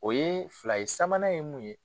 O ye fila ye sabanan ye mun ye